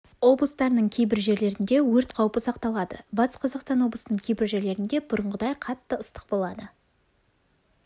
облыстарының кейбір жерлерінде өрт қаупі сақталады батыс қазақстан облысының кейбір жерлерінде бұрынғыдай қатты ыстық болады